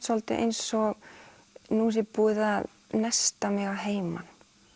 svolítið eins og nú sé búið að nesta mig að heiman